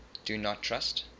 do not trust